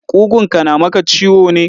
Ƙugunka na maka ciwo ne?